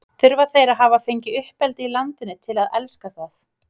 Þurfa þeir að hafa fengið uppeldi í landinu til að elska það?